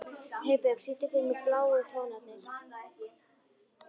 Heiðbjörk, syngdu fyrir mig „Bláu tónarnir“.